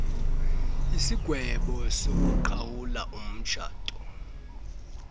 isigwebo sokuqhawula umtshato